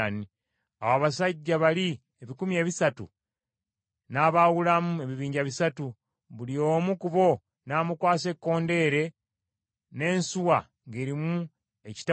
Awo Abasajja bali ebikumi ebisatu n’abawulamu ebibinja bisatu, buli omu ku bo n’amukwasa ekkondeere n’ensuwa ng’erimu ekitawuliro.